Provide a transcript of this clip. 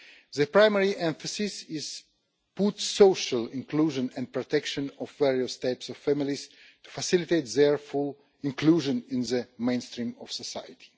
The primary emphasis is put on social inclusion and the protection of various types of families to facilitate their full inclusion in the mainstream of society.